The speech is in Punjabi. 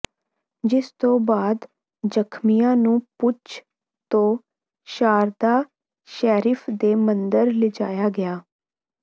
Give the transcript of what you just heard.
ਜਿਸ ਤੋਂ ਬਾਅਦ ਜ਼ਖਮੀਆਂ ਨੂੰ ਪੂੰਛ ਤੋਂ ਸ਼ਾਰਦਾ ਸ਼ੈਰਿਫ ਦੇ ਮੰਦਰ ਲਿਜਾਇਆ ਗਿਆ